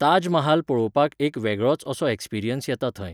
ताज महाल पळोवपाक एक वेगळोच असो experience येता थंय.